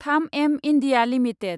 3एम India limited